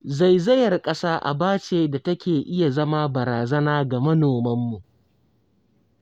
Zaizayar ƙasa aba ce da take iya zama barazana ga manomanmu